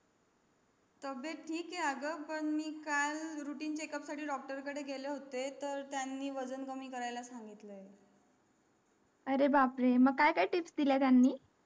तबियत ठीक आहे अग पण मी काल routine checkup साठी doctor काढे गेले होते पण त्यांनी वजन कमी करायला सांगितलं अरे बाप रे मग काय काय tips दिल्या त्यांनी